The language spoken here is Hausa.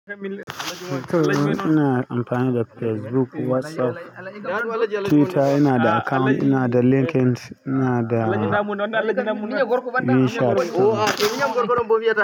Ina amfani da Facebook, WhatsApp, Twitter ina da account, ina da LinkInt, ina da minshat to.